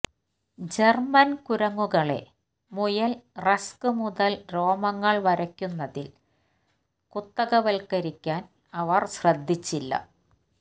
German കുരങ്ങുകളെ മുയൽ rex മുതൽ രോമങ്ങൾ വരയ്ക്കുന്നതിൽ കുത്തകവൽക്കരിക്കാൻ അവർ ശ്രദ്ധിച്ചില്ല